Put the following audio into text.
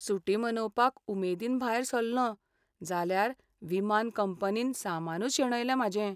सुटी मनोवपाक उमेदीन भायर सल्लों जाल्यार विमान कंपनीन सामानूच शेणयलें म्हाजें.